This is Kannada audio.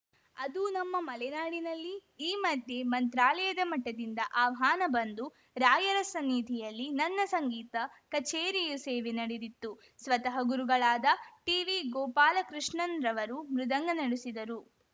ಅದು ನಮ್ಮ ಮಲೆನಾಡಿನಲ್ಲಿ ಈ ಮಧ್ಯೆ ಮಂತ್ರಾಲಯದ ಮಠದಿಂದ ಆಹ್ವಾನ ಬಂದು ರಾಯರ ಸನ್ನಿಧಿಯಲ್ಲಿ ನನ್ನ ಸಂಗೀತ ಕಛೇರಿಯು ಸೇವೆ ನಡೆದಿತ್ತು ಸ್ವತಃ ಗುರುಗಳಾದ ಟಿವಿ ಗೋಪಾಲಕೃಷ್ಣನ್‌ರವರು ಮೃದಂಗ ನುಡಿಸಿದ್ದರು